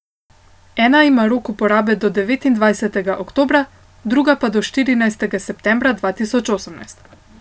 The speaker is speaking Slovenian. Ena ima rok uporabe do devetindvajsetega oktobra, druga pa do štirinajstega septembra dva tisoč osemnajst.